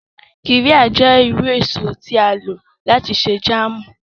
Qirya jẹ iru eso ti a lo lati ṣe jàámu.